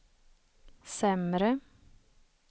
sämre